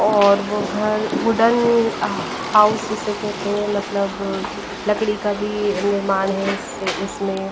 और वो घर वुडेन हाउस जिसे कहते हैं मतलब लकड़ी का भी निर्माण है इससे-इसमें--